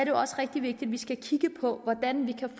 jo også rigtig vigtigt at på hvordan vi kan